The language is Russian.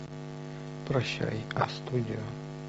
прощай а студио